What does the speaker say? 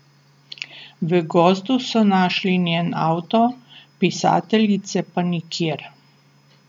V gozdu so našli njen avto, pisateljice pa nikjer.